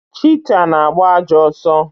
Chita na-agba ajọ ọsọ.